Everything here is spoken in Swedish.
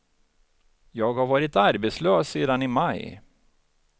Jag har varit arbetslös sedan i maj.